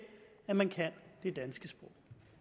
at man kan det danske sprog